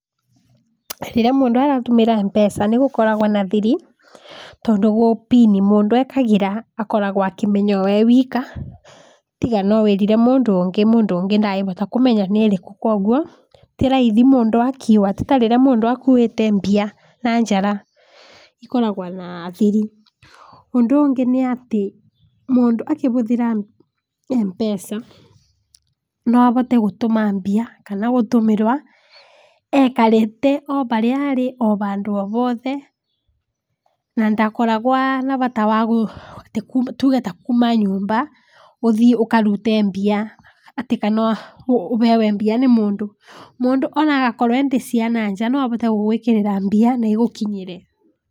Rĩrĩa mũndũ aratũmĩra M-pesa, nĩ gũkoragwa na thiri, tondũ gũ pin mũndũ ekagĩra akoragwa akĩmenya we ewika tiga no wĩrire mũndũ ũngĩ ,mũndũ ũngĩ nangĩhota kũmenya nĩrĩkũ kwoguo tĩ raithi mũndũ akĩwa tĩ ta rĩrĩa mũndũ akuĩte mbia na njara akoragwa na thiri, ũndũ ũngĩ nĩ atĩ mũndũ akĩhũthĩra M-pesa, no ahote gũtũma mbia kana gũtũmĩrwa ekarĩte oharĩa arĩ ohandũ ohothe na ndakoragwa na bata wa tuge ta kuuma nyũmba ũthii ũkarute mbia atĩ kana ũhewe mbia nĩ mũndũ, mũndũ onagakorwa endĩ cia na nja no ahote gũgwĩkĩrĩra mbia na igũkinyĩre.